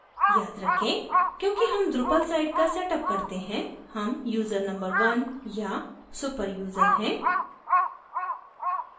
याद रखेंक्योंकि हम drupal site का setup करते हैं हम यूज़र number 1 या super यूज़र हैं